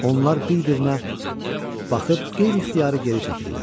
Onlar bir-birinə baxıb qeyri-ixtiyari geri çəkildilər.